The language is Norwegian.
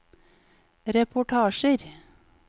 reportasjer